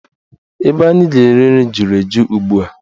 Ebe anyị ga-eri nri juru eju ugbua.